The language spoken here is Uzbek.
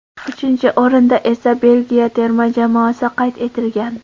Uchinchi o‘rinda esa Belgiya terma jamoasi qayd etilgan.